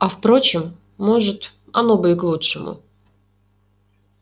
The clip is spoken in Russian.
а впрочем может оно бы и к лучшему